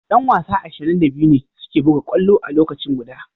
Yan wasa ashirin da biyu ne suke buga kwallo a lokaci guda.